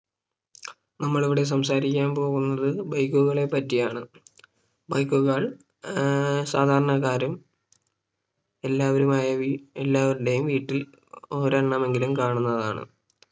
നമ്മൾ ഇവിടെ സംസാരിക്കാൻ പോവുന്നത് Bike കളെ പറ്റിയാണ് Bike കൾ ഏർ സാധാരണക്കാരും എല്ലാവരുമായ വീ എല്ലാവരുടെയും വീട്ടിൽ ഒരെണ്ണമെങ്കിലും കാണുന്നതാണ്